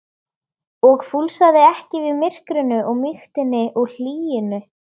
og fúlsaði ekki við myrkrinu og mýktinni og hlýjunni.